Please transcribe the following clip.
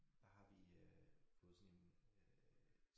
Der har vi øh fået sådan en øh